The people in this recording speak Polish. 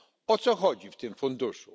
O co chodzi w tym funduszu?